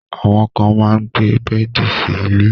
Àwọn kan máa gbé bẹ́ẹ̀di sí ilẹ̀